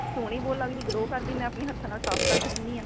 ਸੋਹਣੀ ਬਹੁਤ ਲੱਗਦੀ glow ਕਰਦੀ ਮੈਂ ਆਪਣੇ ਹੱਥਾ ਨਾਲ ਸਾਫ਼ ਕਰਦੀ ਰਹਿਣੀ ਆਂ